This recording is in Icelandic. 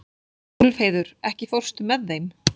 Úlfheiður, ekki fórstu með þeim?